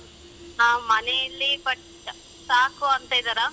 ಹಾ ಮನೇಲಿ but ಸಾಕು ಅಂತೀದರಾ.